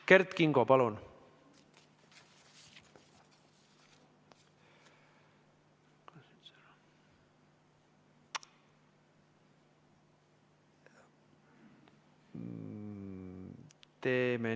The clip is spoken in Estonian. Kert Kingo, palun!